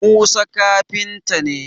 Musa kafinta ne